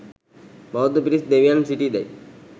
බෞද්ධ පිරිස් දෙවියන් සිටීදැයි